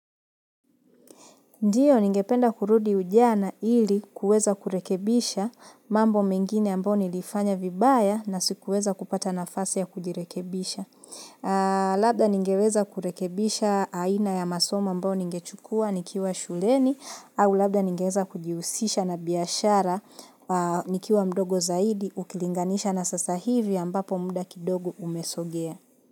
Ndio, ningependa kurudi ujana ili kuweza kurekebisha mambo mengine ambao nilifanya vibaya na sikuweza kupata nafasi ya kujirekebisha. Labda ningeweza kurekebisha aina ya masomo ambao ningechukua nikiwa shuleni au labda ningeweza kujiusisha na biashara nikiwa mdogo zaidi ukilinganisha na sasa hivi ambapo muda kidogo umesogea.